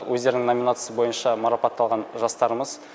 өздерінің номинациясы бойынша мараптталған жастарымыз